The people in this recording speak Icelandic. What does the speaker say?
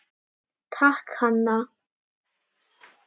Takk, Hanna.